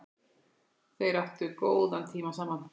Þeir áttu góðan tíma saman.